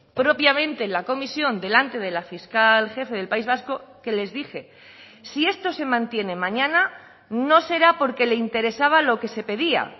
propiamente en la comisión delante de la fiscal jefe del país vasco que les dije si esto se mantiene mañana no será porque le interesaba lo que se pedía